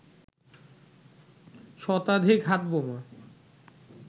শতাধিক হাত বোমা